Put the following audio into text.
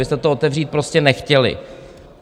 Vy jste to otevřít prostě nechtěli.